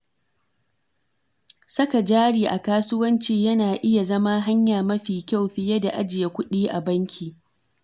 Saka jari a kasuwanci yana iya zama hanya mafi kyau fiye da ajiye kuɗi a banki.